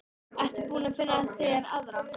Ertu búinn að finna þér aðra?